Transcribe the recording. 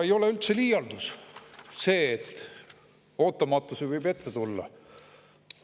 Ei ole üldse liialdus see, et ootamatusi võib ette tulla.